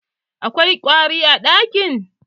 Akwai ƙwari a ɗakin?